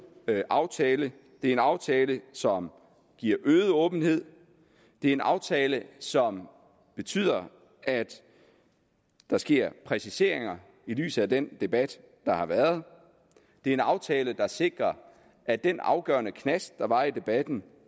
aftale det er en aftale som giver øget åbenhed det er en aftale som betyder at der sker præciseringer i lyset af den debat der har været det er en aftale der sikrer at den afgørende knast der var i debatten